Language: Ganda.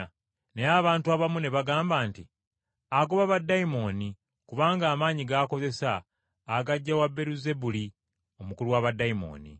Naye abantu abamu ne bagamba nti, “Agoba baddayimooni, kubanga amaanyi g’akozesa agaggya wa Beeruzebuli omukulu wa baddayimooni!”